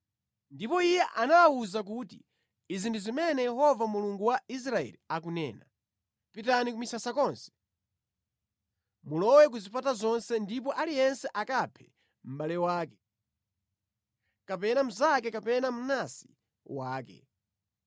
Ndipo iye anawawuza kuti, “Izi ndi zimene Yehova Mulungu wa Israeli akunena, ‘Pitani ku misasa konse, mulowe ku zipata zonse ndipo aliyense akaphe mʼbale wake, kapena mnzake kapena mnansi wake.’ ”